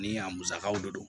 Ni a musakaw de don